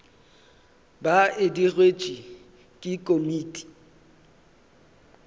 ba e digetšwe ke komiti